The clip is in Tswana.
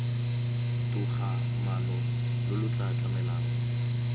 togamaano lo lo tla tlamelang